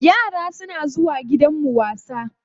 Yara suna zuwa wasa gidanmu.